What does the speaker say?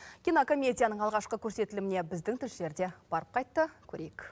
кинокомедияның алғашқы көрсетіліміне біздің тілшілер де барып қайтты көрейік